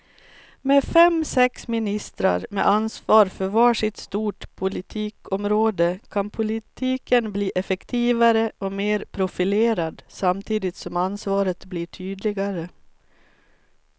Med fem, sex ministrar med ansvar för var sitt stort politikområde kan politiken bli effektivare och mer profilerad samtidigt som ansvaret blir tydligare.